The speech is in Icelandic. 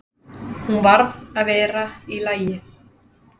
Hún varð að vera í lagi.